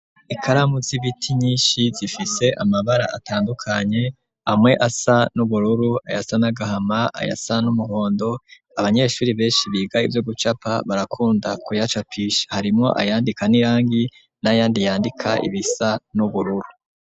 Ikaramu z'ibiti nyishi zifise amabara atandukanye amwe asa n'ubururu ayasa n'agahama ayasa n'umuhondo abanyeshuri beshi biga ivyo gucapa barakunda ku yacapisha harimwo ayandika n'irangi n'ayandi yandika ibisa n'ubururu.